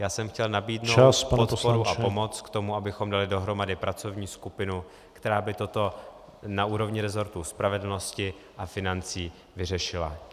Já jsem chtěl nabídnout podporu a pomoc k tomu, abychom dali dohromady pracovní skupinu, která by toto na úrovni rezortu spravedlnosti a financí vyřešila.